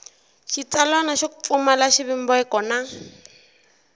xitsalwana xo pfumala xivumbeko na